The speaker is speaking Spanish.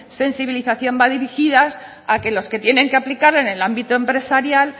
sensibilización van dirigidas a que los que tienen que aplicarlo en el ámbito empresarial